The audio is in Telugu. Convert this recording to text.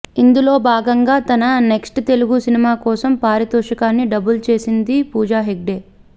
ఇందులో భాగంగా తన నెక్ట్స్ తెలుగు సినిమా కోసం పారితోషికాన్ని డబుల్ చేసింది పూజా హెగ్డే